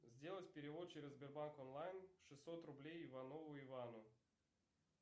сделать перевод через сбербанк онлайн шестьсот рублей иванову ивану